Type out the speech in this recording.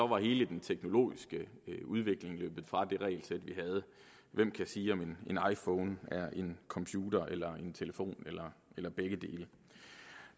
var hele den teknologiske udvikling løbet fra det regelsæt vi havde hvem kan sige om en iphone er en computer eller en telefon eller eller begge dele